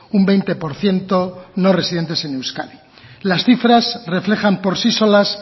un veinte por ciento no residentes en euskadi las cifras reflejan por sí solas